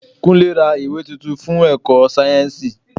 Kúnlé ra ìwé tuntun fún èkó sáyẹ́nsì.